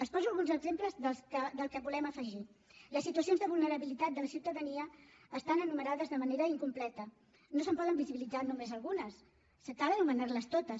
els poso alguns exemples del que volem afegir les situacions de vulnerabilitat de la ciutadania estan enumerades de manera incompleta no se’n poden visibilitzar només algunes cal anomenar les totes